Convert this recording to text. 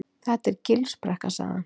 Þetta er Gilsbrekka sagði hann.